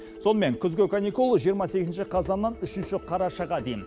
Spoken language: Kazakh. сонымен күзгі каникул жиырма сегізінші қазаннан үшінші қарашаға дейін